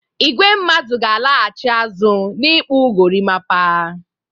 Igwe mmadụ ga-alaghchi azụ n'ikpụ gorimapa.